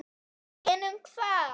En um hvað?